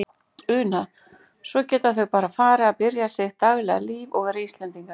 Una: Svo geta þau bara farið að byrja sitt daglega líf og vera Íslendingar?